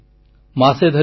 ପୁଣି ଭେଟିବି